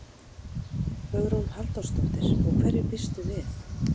Hugrún Halldórsdóttir: Og hverju býstu við?